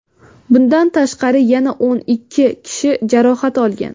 Bundan tashqari, yana o‘n kishi jarohat olgan.